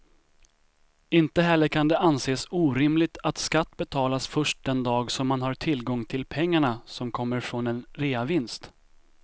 Inte heller kan det anses orimligt att skatt betalas först den dag som man har tillgång till pengarna som kommer från en reavinst.